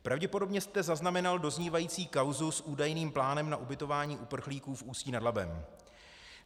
Pravděpodobně jste zaznamenal doznívající kauzu s údajným plánem na ubytování uprchlíků v Ústí nad Labem.